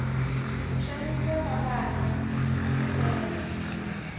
ku xanisiwa ka vana aku tele